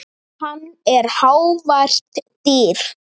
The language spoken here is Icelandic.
Hann er hávært dýr.